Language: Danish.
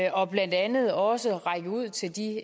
og blandt andet også række ud til de